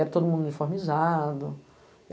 Era todo mundo uniformizado.